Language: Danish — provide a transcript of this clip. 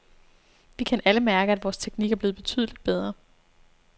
Vi kan alle mærke, at vores teknik er blevet betydeligt bedre.